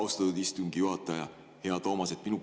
Austatud istungi juhataja, hea Toomas!